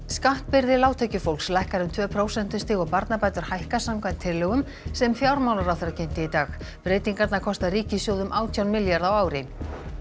skattbyrði lágtekjufólks lækkar um tvö prósentustig og barnabætur hækka samkvæmt tillögum sem fjármálaráðherra kynnti í dag breytingarnar kosta ríkissjóð um átján milljarða á ári